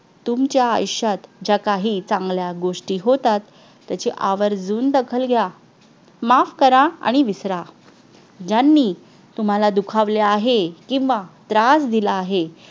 तुमच्या आयुष्यात ज्या काही चांगल्या गोष्टी होतात त्याची आवर्जून दखल घ्या माफ करा आणि विसरा ज्यांनी तुम्हाला दुखावले आहे किंवा त्रास दिला आहे